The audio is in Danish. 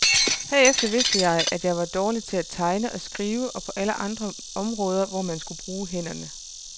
Herefter vidste jeg, at jeg var dårlig til at tegne og skrive og på alle andre områder, hvor man skulle bruge hænderne.